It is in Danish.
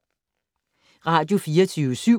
Radio24syv